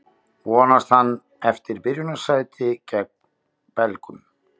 Vonast hann eftir byrjunarliðssæti gegn Belgum?